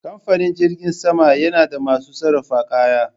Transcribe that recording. Kamfanin jirgin sama yana da masu sarrafa kaya